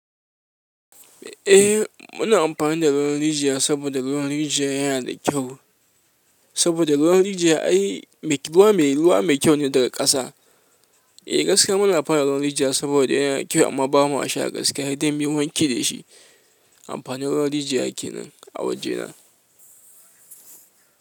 Eh muna amfani da ruwan rijiya saboda ruwan rijiya yana da kyau. Saboda ruwan rijiya ai ruwa mai kyau ne daga ƙasa. Eh gaskiya muna amfani da ruwan rijiya saboda yana kyau amma bama sha gaskiya sai muyi wanke da shi. Amfani ruwan rijiya kenan a wajena.